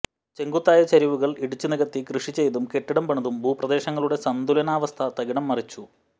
ചെങ്കുത്തായ ചെരിവുകൾ ഇടിച്ചുനികത്തി കൃഷിചെയ്തും കെട്ടിടം പണിതും ഭൂപ്രദേശങ്ങളുടെ സംതുലനാവസ്ഥ തകിടംമറിച്ചു